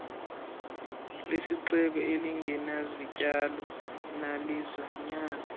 lesixeko elingenazityalo nazilwanyana